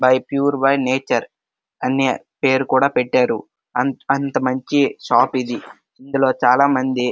A pure by nature అని పేరు కూడా పెట్టారు. అంత మంచి షాప్ ఇది ఇందులో చాల మంది --